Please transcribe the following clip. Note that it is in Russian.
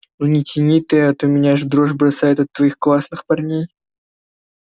ну не тяни ты а то меня аж в дрожь бросает от твоих классных парней